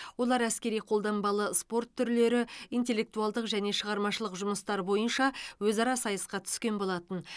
олар әскери қолданбалы спорт түрлері интеллектуалдық және шығармашылық жұмыстар бойынша өзара сайысқа түскен болатын